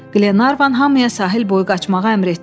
Glenarvan hamıya sahil boyu qaçmağa əmr etdi.